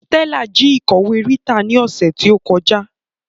Stella ji ikọwe Rita ni ose ti o koja